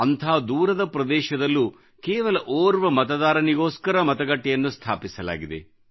ಅಂಥ ದೂರದ ಪ್ರದೇಶದಲ್ಲ್ಲೂ ಕೇವಲ ಓರ್ವ ಮತದಾರನಿಗೋಸ್ಕರ ಮತಗಟ್ಟೆಯನ್ನು ಸ್ಥಾಪಿಸಲಾಗಿದೆ